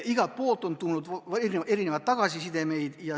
Igalt poolt on tulnud tagasisidet.